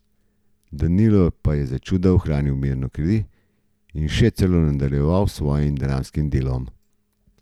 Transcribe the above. Danilo pa je začuda ohranil mirno kri in še celo nadaljeval s svojim dramskim delom.